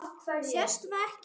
Sést það ekki?